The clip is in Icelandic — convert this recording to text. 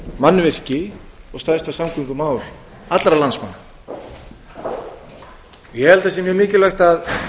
samgöngumannvirki og stærsta samgöngumál allra landsmanna ég held að sé mjög mikilvægt að